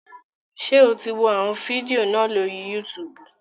Ṣé o ti wọ àwọn fídíò náà lórí Yútùùbù?